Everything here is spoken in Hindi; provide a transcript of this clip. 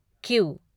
क्यू